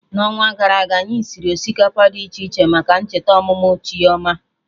Na onwa gara aga anyị siri osikapa dị iche iche maka ncheta ọmụmụ Chioma